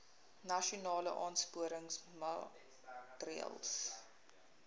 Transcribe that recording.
nasionale aansporingsmaatre ls